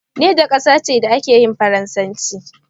Niger ƙasa ce da ake yin faransanci.